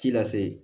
Ci lase